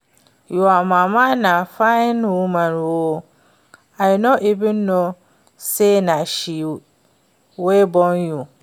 Your Mama na fine woman oo, I no even know say na she wey born you